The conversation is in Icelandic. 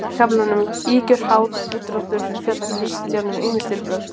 Í kaflanum Ýkjur, háð, úrdráttur fjallar Kristján um ýmis stílbrögð.